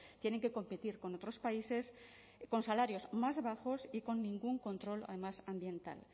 tienen que competir con otros países con salarios más bajos y con ningún control además ambiental